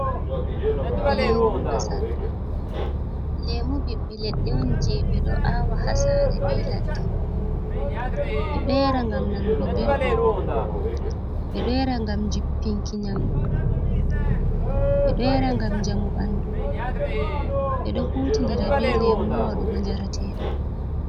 Lemu masal. lemu bibbe ledde on je be do awa ha sare, be ladde. Beɗo yara ngam nanugo beldum, be do yara ngam jippinki nyamd, beɗo yara gam jamu bandu. Be do hutindira be lemu ha wadugo jaratedam.